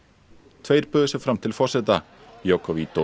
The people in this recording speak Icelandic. tveir buðu sig fram til forseta